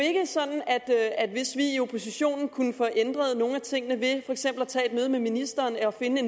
sådan at at hvis vi i oppositionen kunne få ændret nogle af tingene ved for eksempel at tage et møde med ministeren og finde